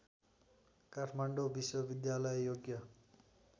काठमाडौँ विश्वविद्यालय योग्य